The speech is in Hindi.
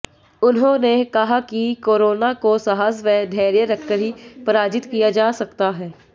उन्होंने कहा कि कोरोना को साहस व धैर्य रखकर ही पराजित किया जा सकता है